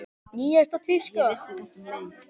Nýjasta tíska?